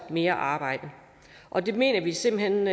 mere arbejde og det mener vi simpelt hen